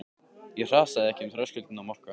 Ég hrasaði ekki um þröskuldinn á Mokka.